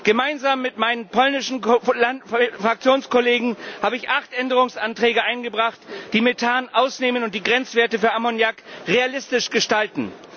Gemeinsam mit meinen polnischen Fraktionskollegen habe ich acht Änderungsanträge eingebracht, die Methan ausnehmen und die Grenzwerte für Ammoniak realistisch gestalten.